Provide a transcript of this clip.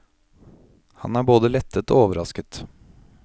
Han er både lettet og overrasket.